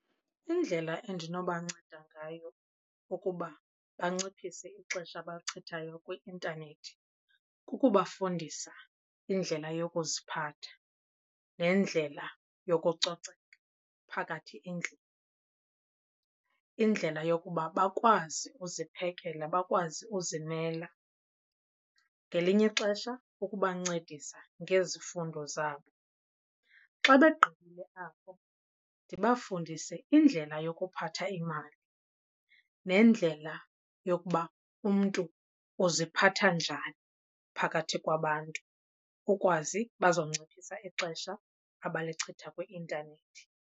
Indlela endinobanceda ngayo ukuba banciphise ixesha abalichithayo kwi-intanethi kukubafundisa indlela yokuziphatha nendlela yokucoceka phakathi endlini. Indlela yokuba bakwazi uziphekela, bakwazi uzimela ngelinye ixesha ukubancedisa ngezifundo zabo. Xa begqibile apho ndibafundise indlela yokuphatha imali nendlela yokuba umntu uziphatha njani phakathi kwabantu ukwazi bazonciphisa ixesha abalichitha kwi-intanethi.